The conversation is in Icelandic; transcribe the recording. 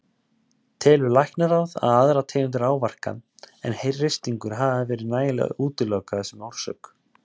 Telur Læknaráð að aðrar tegundir áverka en hristingur hafi verið nægilega útilokaðir sem orsök?